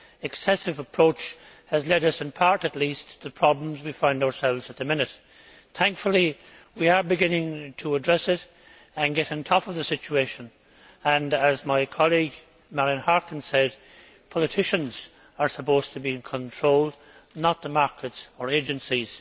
excessive approach has led us in part, at least, to problems we find ourselves in at the minute. Thankfully, we are beginning to address it and get on top of the situation and, as my colleague Marian Harkin said, politicians are supposed to be in control, not the markets or agencies.